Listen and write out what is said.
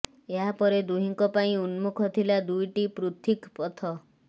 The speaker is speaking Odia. ଏହାପରେ ଦୁହିଁଙ୍କ ପାଇଁ ଉନ୍ମୁଖ ଥିଲା ଦୁଇଟି ପୃଥିକ୍ ପଥ